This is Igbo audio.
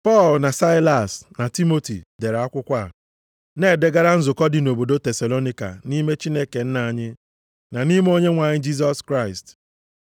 Pọl, na Saịlas, na Timoti dere akwụkwọ a, Na-edegara nzukọ dị nʼobodo Tesalonaịka nʼime Chineke Nna anyị, na nʼime Onyenwe anyị Jisọs Kraịst.